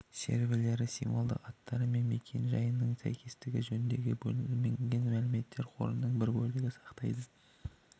серверлері символдық аттары мен мекен-жайының сәйкестігі жөніндегі бөлінген мәлімет қорының бір бөлігін сақтайды